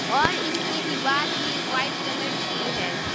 और इसकी दीवार भी वाइट कलर की है।